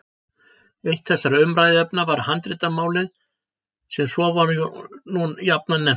Eitt þessara umræðuefna var handritamálið sem svo var nú jafnan nefnt.